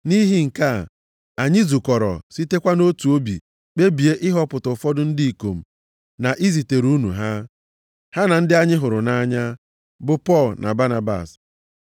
Nʼihi nke a, anyị zukọrọ, sitekwa nʼotu obi kpebie ịhọpụta ụfọdụ ndị ikom na izitere unu ha, ha na ndị anyị hụrụ nʼanya, bụ Pọl na Banabas,